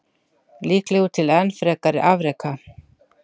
Líklegur til enn frekari afreka.